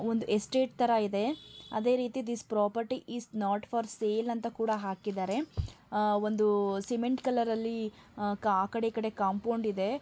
Estate ತರ ಇದೆ ಅದೇ ರೀತಿ this properties is not for sale ಅಂತ ಹಾಕಿದ್ದಾರೆ ಅ ಒಂದು ಸಿಮೆಂಟ್ ಕಲರಲ್ಲಿ ಆ ಕಡೆ ಈ ಕಡೆ ಕಾಂಪೌಂಡ್ ತರ ಇದೆ.